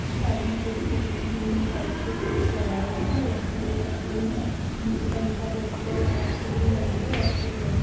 Side मे थोड़ी सी ग्रीन ग्रीन टाइप के फूलस लगाए गए है वहाँ पे अभी पत्ते ही है नीचे का हिस्सा बहुत ही जायदा साफ सुथरी लग रही यही अच्छी भी लग रही यही .।